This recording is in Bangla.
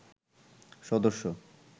সদস্য